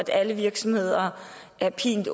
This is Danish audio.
alle virksomheder er pint